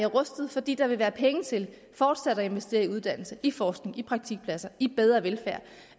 rustet fordi der vil være penge til fortsat at investere i uddannelse i forskning i praktikpladser i bedre velfærd og